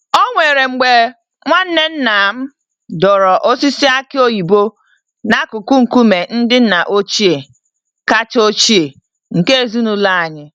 Onwere mgbe nwanne nnam dọrọ osisi aki oyibo n'akụkụ nkume ndị nna ochie kacha ochie nke ezinụlọ anyị.